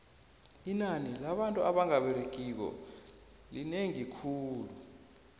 inani labantu abanga beregiko linengi khulu